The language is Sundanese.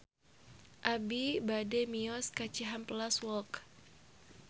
Abi bade mios ka Cihampelas Walk